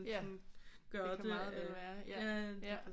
Ja det kan meget vel være ja ja